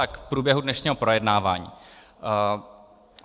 A k průběhu dnešního projednávání.